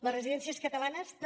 les residències catalanes també